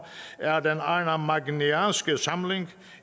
er den arnamagnæanske samling